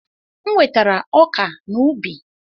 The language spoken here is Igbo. M wetara ọka n'ubi.